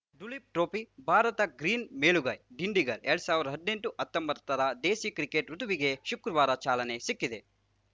Duleep trophy Bharat green ಮೇಲುಗೈ ದಿಂಡಿಗಲ್‌ ಎರಡ್ ಸಾವಿರ್ದಾ ಹದ್ನೆಂಟು ಹತ್ತೊಂಬತ್ತರ ದೇಸಿ ಕ್ರಿಕೆಟ್‌ ಋುತುವಿಗೆ ಶುಕ್ರವಾರ ಚಾಲನೆ ಸಿಕ್ಕಿದೆ